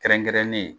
Kɛrɛnkɛrɛnnen